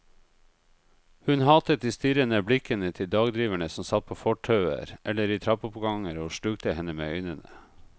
Hun hatet de strirrende blikkende til dagdriverne som satt på fortauer eller i trappeoppganger og slukte henne med øynene.